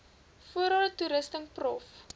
voorrade toerusting prof